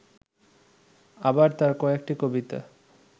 আবার তাঁর কয়েকটি কবিতা